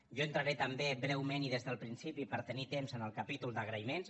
jo entraré també breument i des del principi per tenir temps en el capítol d’agraïments